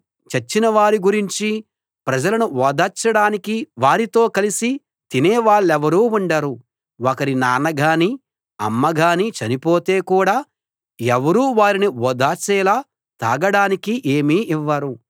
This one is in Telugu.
చచ్చినవారి గురించి ప్రజలను ఓదార్చడానికి వారితో కలిసి తినే వాళ్ళెవరూ ఉండరు ఒకరి నాన్న గానీ అమ్మ గానీ చనిపోతే కూడా ఎవరూ వారిని ఓదార్చేలా తాగడానికి ఏమీ ఇవ్వరు